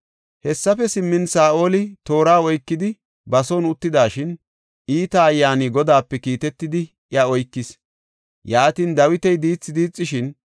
Hessafe simmin, Saa7oli toora oykidi ba son uttidashin, iita ayyaani Godaape kiitetidi iya oykis. Yaatin, Dawiti diithi diixishin,